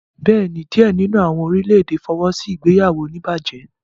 Bẹẹni, diẹ nínú awọn orilẹ-ède fọwọsi ìgbéyàwó onibaje?